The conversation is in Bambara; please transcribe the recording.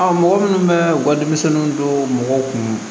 mɔgɔ minnu bɛ u ka denmisɛnninw don mɔgɔw kun